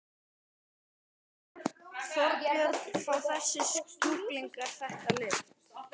Þorbjörn: Fá þessir sjúklingar þetta lyf?